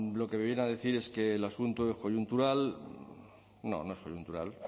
lo que me viene a decir es que el asunto es coyuntural no no es coyuntural